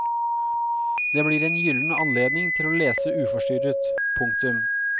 Det blir en gylden anledning til å lese uforstyrret. punktum